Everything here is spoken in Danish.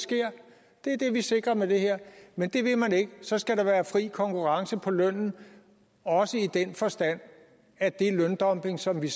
sker det er det vi sikrer med det her men det vil man ikke så skal der være fri konkurrence på lønnen også i den forstand at den løndumping som vi